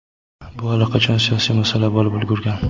Bu allaqachon siyosiy masala bo‘lib ulgurgan.